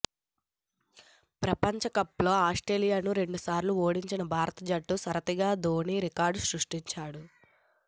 ప్రపంచ కప్లో ఆస్ట్రేలియాను రెండుసార్లు ఓడించిన భారత జట్టు సారథిగా ధోనీ రికార్డ్ సృష్టిస్తాడు